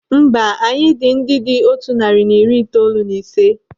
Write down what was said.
Mba, anyị dị ndị dị otu narị na iri itoolu na ise.